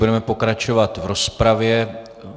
Budeme pokračovat v rozpravě.